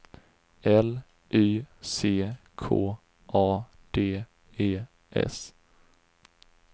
L Y C K A D E S